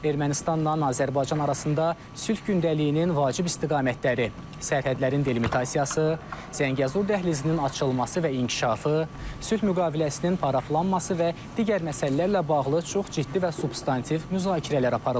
Ermənistanla Azərbaycan arasında sülh gündəliyinin vacib istiqamətləri, sərhədlərin delimitasiyası, Zəngəzur dəhlizinin açılması və inkişafı, sülh müqaviləsinin paraflanması və digər məsələlərlə bağlı çox ciddi və substantiv müzakirələr aparılıb.